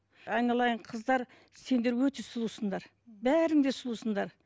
айналайын қыздар сендер өте сұлусыңдар бәрің де сұлусыңдар